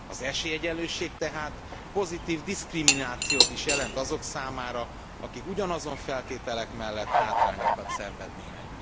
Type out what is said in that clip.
Az esélyegyenlőség tehát pozitív diszkriminációt is jelent azok számára, akik ugyanazon feltételek mellett hátrányokat szenvednének.